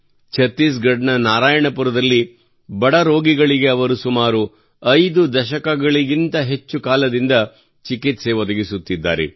ಛತ್ತೀಸ್ ಗಢ್ ನ ನಾರಾಯಣಪುರದಲ್ಲಿ ಬಡ ರೋಗಿಗಳಿಗೆ ಅವರು ಸುಮಾರು ಐದು ದಶಕಗಳಿಗಿಂತ ಹೆಚ್ಚು ಕಾಲದಿಂದ ಚಿಕಿತ್ಸೆ ಸೇವೆ ಒದಗಿಸುತ್ತಿದ್ದಾರೆ